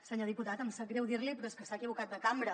senyor diputat em sap greu dir l’hi però és que s’ha equivocat de cambra